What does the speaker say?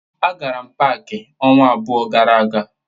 A gara m pááki ọnwa abụọ gara aga